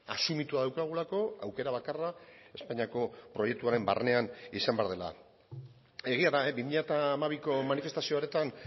asumitua daukagulako aukera bakarra espainiako proiektuaren barnean izan behar dela egia da bi mila hamabiko manifestazio horretan